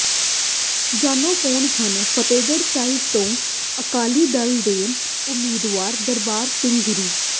ਜਾਣੋ ਕੌਣ ਹਨ ਫਤਿਹਗੜ੍ਹ ਸਾਹਿਬ ਤੋਂ ਅਕਾਲੀ ਦਲ ਦੇ ਉਮੀਦਵਾਰ ਦਰਬਾਰਾ ਸਿੰਘ ਗੁਰੂ